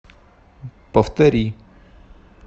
повтори